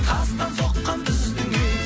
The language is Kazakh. тастан соққан біздің үй